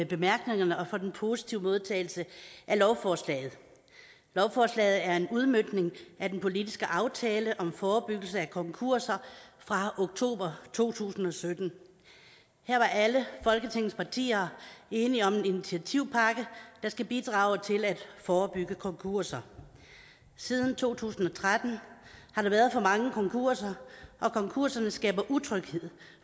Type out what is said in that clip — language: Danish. bemærkningerne og for den positive modtagelse af lovforslaget lovforslaget er en udmøntning af den politiske aftale om forebyggelse af konkurser fra oktober to tusind og sytten her var alle folketingets partier enige om en initiativpakke der skal bidrage til at forebygge konkurser siden to tusind og tretten har der været for mange konkurser og konkurserne skaber utryghed